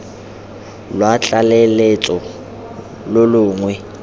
lwa tlaleletso lo lo longwe